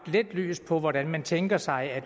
lidt lys over hvordan man tænker sig at